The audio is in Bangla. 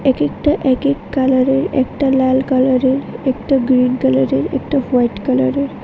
একেকটা একেক কালারের একটা লাল কালারের একটা গ্রীন কালারের একটা হোয়াইট কালারের।